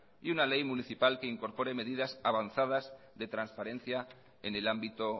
y una ley municipal que incorpore medidas avanzadas de transparencia en el ámbito